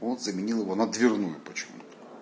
он заменил её на дверную почему-то